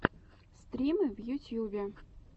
стримы в ютьюбе